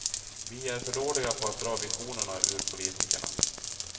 Vi är för dåliga på att dra visionerna ur politikerna.